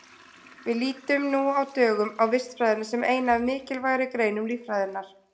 Við lítum nú á dögum á vistfræðina sem eina af mikilvægari greinum líffræðinnar.